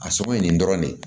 A sogo ye nin dɔrɔn de ye